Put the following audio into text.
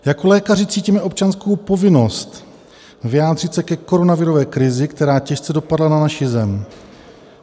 Jako lékaři cítíme občanskou povinnost vyjádřit se ke koronavirové krizi, která těžce dopadla na naši zem.